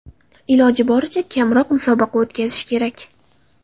Iloji boricha kamroq musobaqa o‘tkazish kerak.